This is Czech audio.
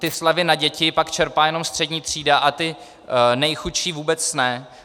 Ty slevy na děti pak čerpá jenom střední třída a ti nejchudší vůbec ne.